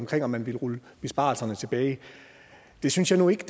til om man ville rulle besparelserne tilbage det synes jeg nu ikke